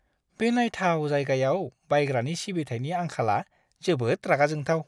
बे नायथाव जायगायाव बायग्रानि सिबिथायनि आंखाला जोबोद रागा जोंथाव।